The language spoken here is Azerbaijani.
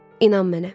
İnan mənə.